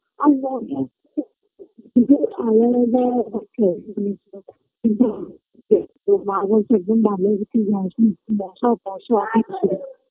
আসবো তো মা বলছে একদম দিকে যাসনা মশা ফশা